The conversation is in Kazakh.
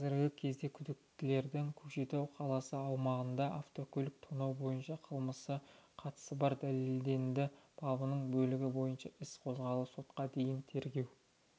қазіргі кезде күдіктіледің көкшетау қаласы аумағында автокөлік тонау бойынша қылмысқа қатысы бар дәлелденді бабының бөлігі бойынша іс қозғалып сотқа дейінгі тергеу